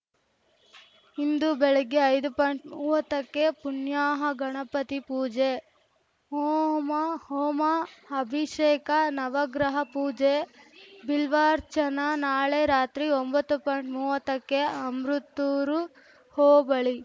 ಇಂದು ಬೆಳಿಗ್ಗೆ ಐದು ಪಾಯಿಂಟ್ಮೂವತ್ತಕ್ಕೆ ಪುಣ್ಯಾಹ ಗಣಪತಿ ಪೂಜೆ ಓಮಾ ಹೋಮ ಅಭಿಷೇಕ ನವಗ್ರಹ ಪೂಜೆ ಬಿಲ್ವಾರ್ಚನ ನಾಳೆ ರಾತ್ರಿ ಒಂಬತ್ತು ಪಾಯಿಂಟ್ಮೂವತ್ತಕ್ಕೆ ಅಮೃತ್ತೂರು ಹೋಬಳಿ